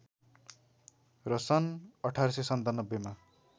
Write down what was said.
र सन् १८९७ मा